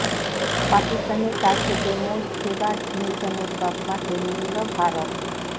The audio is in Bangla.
পাকিস্তানের কাছ থেকে মোস্ট ফেবার্ড নেশনের তকমা কেড়ে নিল ভারত